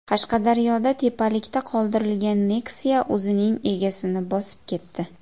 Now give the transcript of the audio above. Qashqadaryoda tepalikda qoldirilgan Nexia o‘zining egasini bosib ketdi.